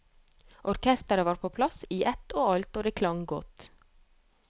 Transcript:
Orkestret var på plass i ett og alt, og det klang godt.